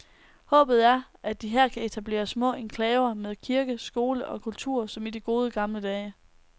Håbet er, at de her kan etablere små enklaver med kirke, skole og kultur som i de gode gamle dage.